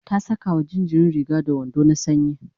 ta Saka wa jinjirin Riga da wando na sanyi